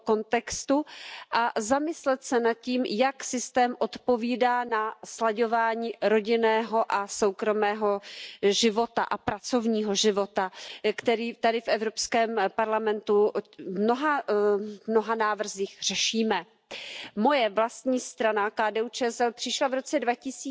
w końcu lat dziewięćdziesiątych wprowadzali system ubezpieczeń prywatnych. Kilkanaście lat później z powrotem włączyli je do budżetu państwa. Podstawą powinien być zatem publiczny, przyzwoity system emerytalny. Zwracam się do pana komisarza Panie Komisarzu, jestem zwolennikiem